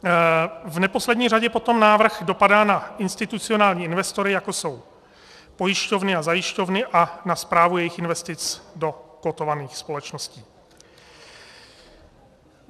V neposlední řadě potom návrh dopadá na institucionální investory, jako jsou pojišťovny a zajišťovny, a na správu jejich investic do kotovaných společností.